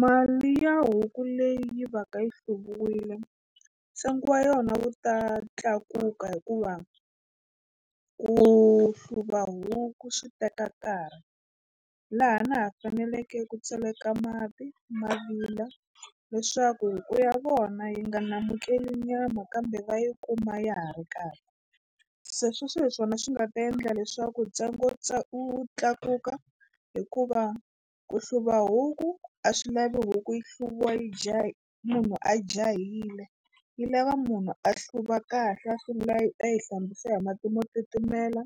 Mali ya huku leyi va ka yi hluviwile ntsengo wa yona wu ta tlakuka hikuva ku hluva huku swi teka nkarhi laha na ha faneleke ku tseleka mati ma vila leswaku huku ya vona yi nga namukeli nyama kambe va yi kuma ya ha ri kahle se sweswo hi swona swi nga ta endla leswaku ntsengo wu tlakuka hikuva ku hluva huku a swi lavi huku yi hluviwa yi munhu a jahile yi lava munhu a hluva kahle a sungula yi a yi hlambisiwa hi mati mo titimela